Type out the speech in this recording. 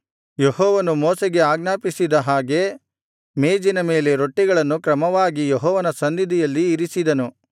ಯೆಹೋವನು ಮೋಶೆಗೆ ಆಜ್ಞಾಪಿಸಿದ ಹಾಗೆ ಮೇಜಿನ ಮೇಲೆ ರೊಟ್ಟಿಗಳನ್ನು ಕ್ರಮವಾಗಿ ಯೆಹೋವನ ಸನ್ನಿಧಿಯಲ್ಲಿ ಇರಿಸಿದನು